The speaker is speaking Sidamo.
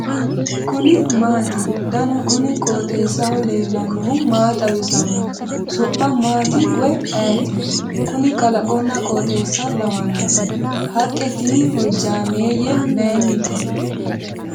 kuni maati ? danu kuni qooxeessaho leellannohu maa xawisanno su'mu maati woy ayeti ? kuni kalaqonna qooxeessa lawannoe . haqqe tini hojjaameeyye maynnite ?